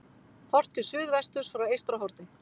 Horft til suðvesturs frá Eystrahorni.